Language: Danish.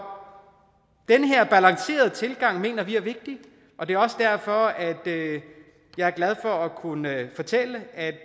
den her balancerede tilgang mener vi er vigtig og det er også derfor at jeg er glad for at kunne fortælle at